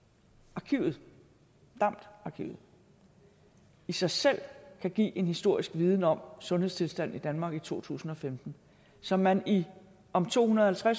arkivet damd arkivet i sig selv kan give en historisk viden om sundhedstilstanden i danmark i to tusind og femten som man om to hundrede og